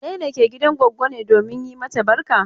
Wane ne ke gidan goggo ne domin yi mata barka?